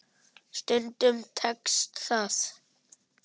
Stundum tekst það.